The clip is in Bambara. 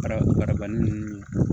Marabani ninnu